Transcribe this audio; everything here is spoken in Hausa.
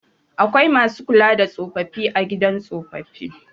Akwai masu kula da tsofaffi a gidan tsofaffi.